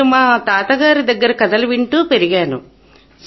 నేను మా తాతగారి దగ్గర కథలు వింటూ పెరిగాను